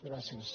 gràcies